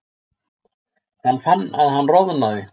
Hann fann að hann roðnaði.